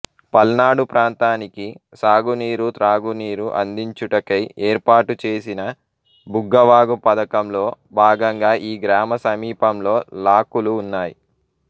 పల్నాడు ప్రాంతానికి సాగునీరు త్రాగునీరు అందించుటకై ఏర్పాటుచేసిన బుగ్గవాగు పథకంలో భాగంగా ఈ గ్రామ సమీప ంలో లాకులు ఉన్నాయి